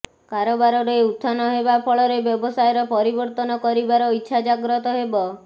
କାରବାରରେ ଉତ୍ଥାନ ହେବାଫଳରେ ବ୍ୟବସାୟର ପରିବର୍ତ୍ତନ କରିବାର ଇଚ୍ଛା ଜାଗ୍ରତ ହେବ